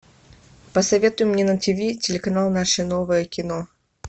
посоветуй мне на тиви телеканал наше новое кино